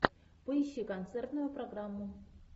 поищи концертную программу